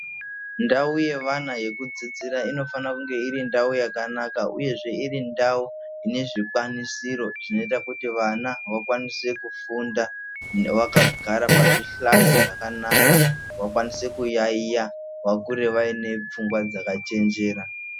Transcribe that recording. Ndau yevana yekudzidzira inofane kunge iri ndau yakanaka uyezve iri ndau ine zvikwanisiro zvinoita kuti vana vakwanise kufunda vakagare pazvihlayo zvakanaka vakwanise kuyaiya vakure vaine pfungwa dzakachenjera.